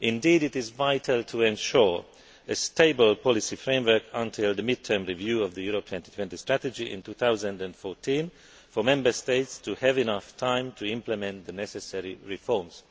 Indeed, it is vital to ensure a stable policy framework until the mid term review of the Europe 2020 Strategy in 2014 for Member States to have enough time to implement the necessary reforms.